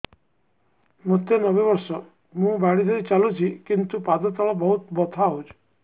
ମୋତେ ନବେ ବର୍ଷ ମୁ ବାଡ଼ି ଧରି ଚାଲୁଚି କିନ୍ତୁ ପାଦ ତଳ ବହୁତ ବଥା ହଉଛି